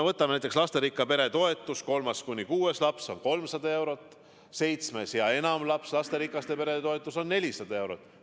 Võtame näiteks lasterikka pere toetuse: kolme kuni kuue lapse puhul on see 300 eurot kuus, seitsme ja enama lapse puhul 400 eurot kuus.